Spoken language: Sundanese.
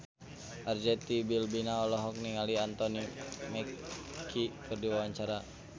Arzetti Bilbina olohok ningali Anthony Mackie keur diwawancara